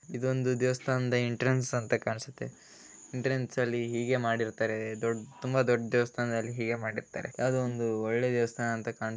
ಇದು ಒಂದು ದೇವಸ್ಥಾನದ ಎಂಟ್ರೆನ್ಸ್ ಅಂತ ಕಾಣ್ಸುತ್ತೆ ಎಂಟ್ರನ್ಸ್ ಅಲ್ಲಿ ಹೀಗೆ ಮಾಡಿರತ್ತಾರೆ ದೊಡ್ಡ ತುಂಬಾ ದೊಡ್ಡ ದೇವಸ್ಥಾನದಲ್ಲಿ ಹೇಗೆ ಮಾಡಿರತ್ತಾರೆ ಯಾವುದೋ ಒಂದು ಒಳ್ಳೆ ದೇವಸ್ಥಾನ --